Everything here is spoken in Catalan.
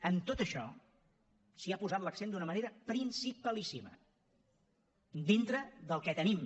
en tot això s’hi ha posat l’accent d’una manera principalíssima dintre del que tenim